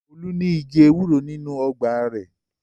Olú ní igi ewúro nínú ọgbà rẹ̀.